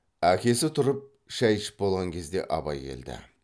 әкесі тұрып шай ішіп болған кезде абай келді